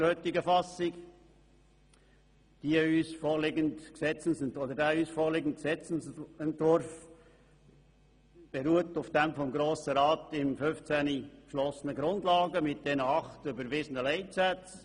Der vorliegende Gesetzesentwurf beruht auf den vom Grossen Rat im Jahr 2015 beschlossenen Grundlagen inklusive der acht überwiesenen Leitsätze.